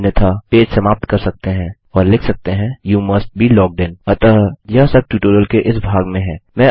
अन्यथा पेज समाप्त कर सकते हैं और लिख सकते हैं you must be logged in अतः यह सब ट्यूटोरियल के इस भाग में है